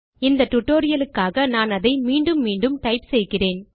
இந்த டியூட்டோரியல் க்காக நான் அதை மீண்டும் மீண்டும் டைப் செய்கிறேன்